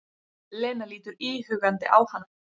Lena lítur íhugandi á hana.